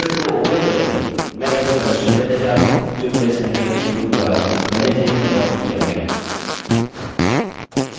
document को open करके मैं इसे प्रदर्शित करने जा रहा हूँ जो मेरे सहकर्मी गुरू द्वारा पहले से ही संपादित किया गया है